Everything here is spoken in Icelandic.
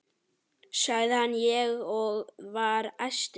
sagði ég og var æstur.